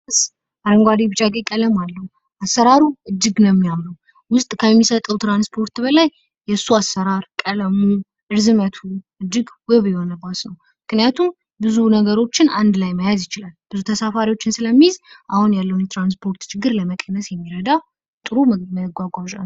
አረንጓዴ፣ ቢጫ፣ ቀይ ቀለም አለው። አሰራሩ እጅግ ነው የሚያምረው። ውስጥ ከሚሰጠው ትራንስፖርት በላይ የሱ አሰራር ፣ቀለሙ፣ ርዝመቱ እጅግ ውብ የሆነ ባስ ነው። ምክንያቱም ብዙ ነገሮችን አንድ ላይ መያዝ ይችላል። ብዙ ተሳፋሪዎችን ስለሚይዝ አሁን ያለውን የትራንስፖርት ችግር ለመቀነስ የሚረዳ የሚረዳ ጥሩ መጓጓዣ ነው።